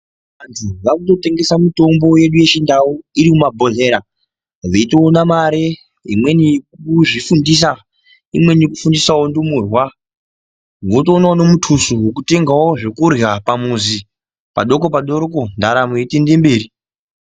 Vantu vava kutotengesa mitombo yedu yechindau iri mumaibhohlera veitowona mari imweni yekuzvifundisa imweni yekufundisawao ndumurwa votowonawo nemutuso wekutengawo zvekurya pamuzi padoko pako ndaramo ichienda mberi.